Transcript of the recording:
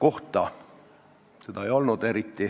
Seda eriti ei olnud.